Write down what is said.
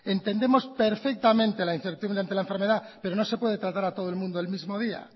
entendemos perfectamente la incertidumbre ante la enfermedad pero no se puede tratar a todo el mundo el mismo día